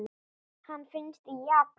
Hann finnst í Japan.